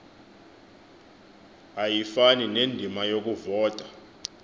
ayifani nendima yokuvota